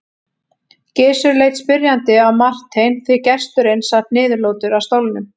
Gizur leit spyrjandi á Martein því gesturinn sat niðurlútur á stólnum.